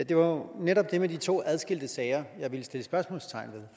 det var jo netop det med de to adskilte sager jeg ville sætte spørgsmålstegn